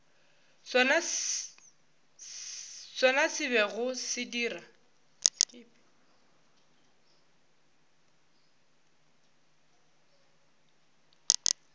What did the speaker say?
sona se bego se dira